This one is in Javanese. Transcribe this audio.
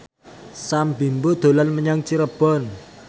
Sam Bimbo dolan menyang Cirebon